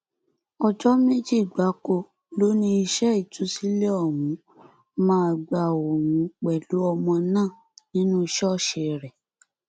ọjọ méjì gbáko ló ní iṣẹ ìtúsílẹ ọhún máa gba òun pẹlú ọmọ náà nínú ṣọọṣì rẹ